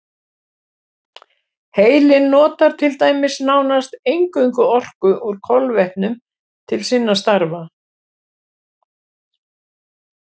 Heilinn notar til dæmis nánast eingöngu orku úr kolvetnum til sinna stafa.